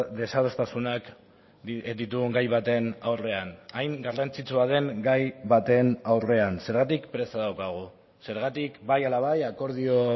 desadostasunak ditugun gai baten aurrean hain garrantzitsua den gai baten aurrean zergatik presa daukagu zergatik bai ala bai akordio